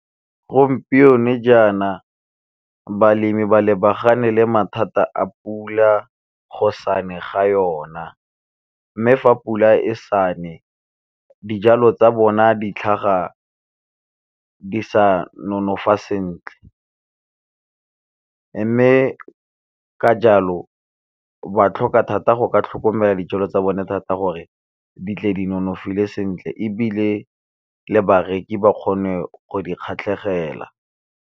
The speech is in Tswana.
Gompieno jaana balemi ba lebagane le mathata a pula go sa ne ga yona, mme fa pula e sa ne dijalo tsa bona di tlhaga di sa nonofa sentle. Mme ka jalo ba tlhoka thata go ka tlhokomela dijalo tsa bone thata gore di tle di nonofile sentle, ebile le bareki ba kgone go di kgatlhegela.